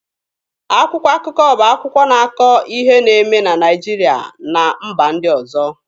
Akwụkwọ akụkọ bụ akwụkwọ na-akọ ihe na-eme na Naịjirịa na mba ndị ọzọ.